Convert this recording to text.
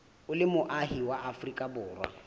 o le moahi wa afrika